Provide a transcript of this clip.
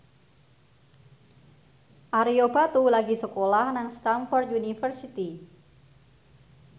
Ario Batu lagi sekolah nang Stamford University